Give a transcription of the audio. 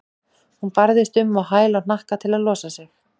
Hún barðist um á hæl og hnakka til að losa sig.